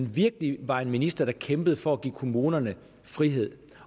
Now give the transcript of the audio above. virkelig var en minister der kæmpede for at give kommunerne frihed